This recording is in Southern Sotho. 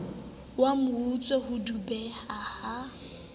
wa mautse ha dubeha ha